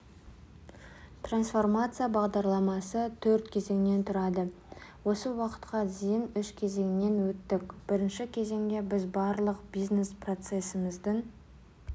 трансформация бағдарламасы төрт кезеңнен тұрады осы уақытқа дейін үш кезеңнен өттік бірінші кезеңде біз барлық бизнес-процесіміздің